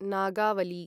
Nagavali